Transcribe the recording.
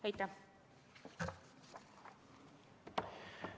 Aitäh!